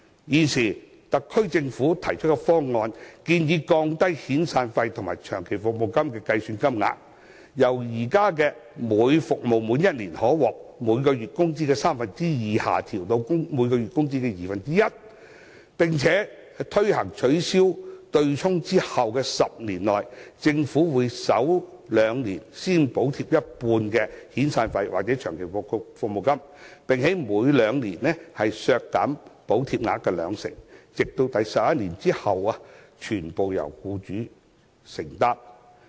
現時特區政府提出方案，建議降低遣散費及長期服務金的水平，由現行每服務滿1年可獲每月工資的三分之二，下調至每月工資的二分之一；並且，在推行取消對沖後的10年內，政府會在首兩年先補貼一半的遣散費或長期服務金，並每兩年削減補貼額兩成，直至在第十一年起，全部由僱主承擔。